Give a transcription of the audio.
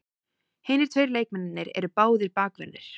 Hinir tveir leikmennirnir eru báðir bakverðir